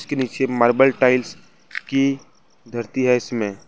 के नीचे marble tiles की धरती है इसमें।